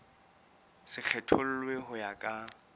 se kgethollwe ho ya ka